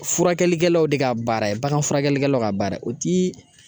Furakɛlikɛlaw de ka baara ye baganfurakɛlikɛlaw ka baara ye o ti